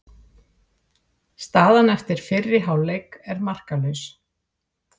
Staðan eftir fyrri hálfleik er markalaus